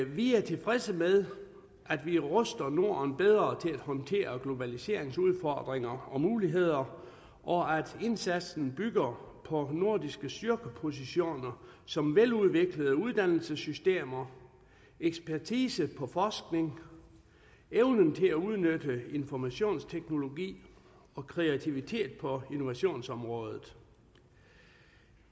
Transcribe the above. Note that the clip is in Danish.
vi tilfredse med at vi ruster norden bedre til at håndtere globaliseringens udfordringer og muligheder og at indsatsen bygger på nordiske styrkepositioner som veludviklede uddannelsessystemer ekspertise på forskning evnen til at udnytte informationsteknologi og kreativitet på innovationsområdet